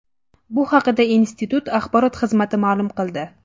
Bu haqda institut axborot xizmati ma’lum qildi .